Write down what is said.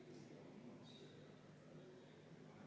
Kümme minutit vaheaega.